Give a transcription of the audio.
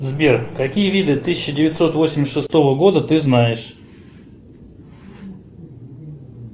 сбер какие виды тысяча девятьсот восемьдесят шестого года ты знаешь